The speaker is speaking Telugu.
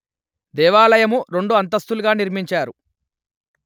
దేవాలయము రెండు అంతస్తులుగా నిర్మించారు